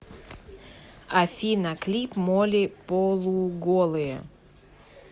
афина клип молли полуголые